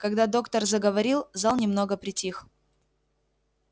когда доктор заговорил зал немного притих